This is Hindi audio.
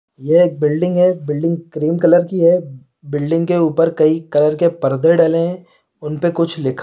बिल्डिंग है बिल्डिंग क्रीम कलर की है बिल्डिंग के ऊपर कई कलर के परदे डले हैं उनपे कुछ लिखा हैं ।